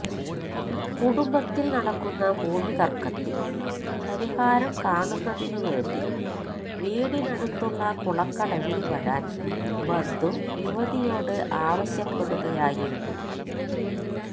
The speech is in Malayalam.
കുടുംബത്തിൽ നടക്കുന്ന ഭൂമി തർക്കത്തിൽ പരിഹാരം കാണുന്നതിനുവേണ്ടി വീടിനടുത്തുള്ള കുളക്കടവിൽ വരാൻ ബന്ധു യുവതിയോട് ആവശ്യപ്പെടുകയായിരുന്നു